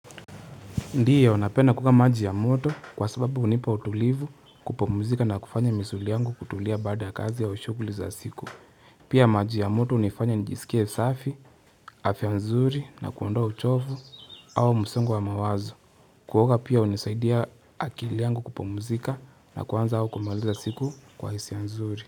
Ndio napenda kuoga maji ya moto kwa sababu hunipa utulivu kupomuzika na kufanya misuli yangu kutulia bada kazi ya ushukuli za siku. Pia maji ya moto unifanya nijisikia safi, afya nzuri na kuondoa uchovu au msongo wa mawazo. Kuoga pia hunisaidia akili yangu kupomuzika na kuanza au kumaliza siku kwa hisia nzuri.